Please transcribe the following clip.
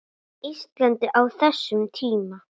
Íslandi á þessum tíma.